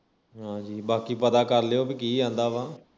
ਹਾਜੀ ਬਾਕੀ ਪਤਾ ਕਰ ਲਿਉ ਕੀ ਆਂਦਾ ਵਾ